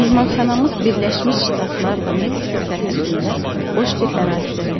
Mehmanxanamız Birləşmiş Ştatlarla Meksika sərhədində boş bir ərazidədir.